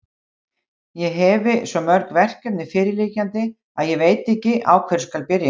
Ég hefi svo mörg verkefni fyrirliggjandi, að ég veit ekki, á hverju byrja skal.